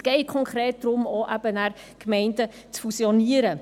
Es geht konkret darum, Gemeinden zu fusionieren.